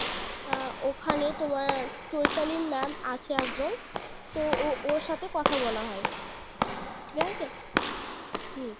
আহ ওখানে তোমার চৈতালি ma'am আছে একজন তো ও ওর সাথে কথা বলা হয় ঠিকাছে, হুম.